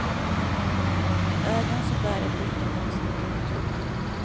Med ögon som började blinka långsamt och tungt.